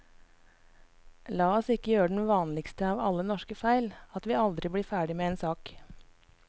La oss ikke gjøre den vanligste av alle norske feil, at vi aldri blir ferdig med en sak.